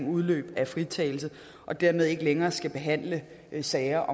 udløb af fritagelse og dermed ikke længere skal behandle sager